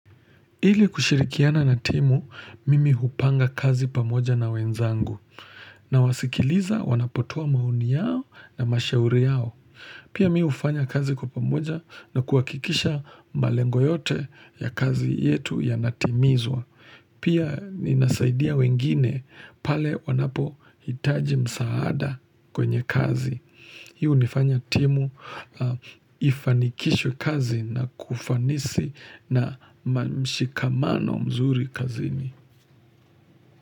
Ili kushirikiana na timu, mimi hupanga kazi pamoja na wenzangu na wasikiliza wanapotoa maoni yao na mashauri yao. Pia mimi ufanya kazi kwa pamoja na kuwakikisha malengo yote ya kazi yetu ya natimizwa. Pia ninasaidia wengine pale wanapo hitaji msaada kwenye kazi. Hii nifanya timu ifanikishwe kazi na kufanisi na mshikamano mzuri kazini.